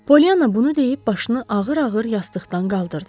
Pollyananna bunu deyib başını ağır-ağır yastıqdan qaldırdı.